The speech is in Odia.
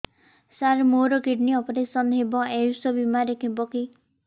ସାର ମୋର କିଡ଼ନୀ ଅପେରସନ ହେବ ଆୟୁଷ ବିମାରେ ହେବ କି